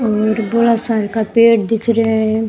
और बड़ा सा का पेड दिख रेहा है।